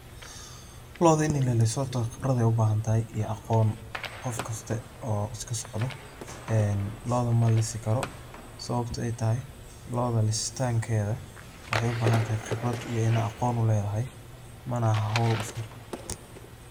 Looda ini laliso horta khibradeey u bahan tahay iyo aqoon ,qofkaste oo iska socdo looda ma lisi karo sababto ay tahay looda lisitaankeeda waxeey u baahan tahay khibrad iyo inaad aqoon u leedahay, mana aha howl iska....